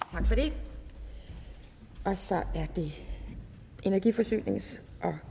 tak for det og så er det energi forsynings og